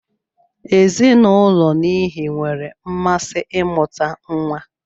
Ezinụulọ n'ihi nwere mmasị imuta nwa.